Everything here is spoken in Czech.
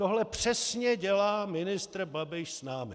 Tohle přesně dělá ministr Babiš s námi.